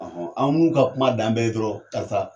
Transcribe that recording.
an n'u kuma dan bɛɛ ye dɔrɔn karisa.